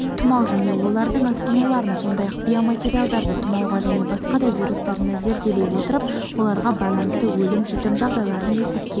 тұмау және олардың асқынуларын сондай-ақ биоматериалды тұмауға және басқа да вирустарына зерделей отырып оларға байланысты өлім-жітім жағдайларын есепке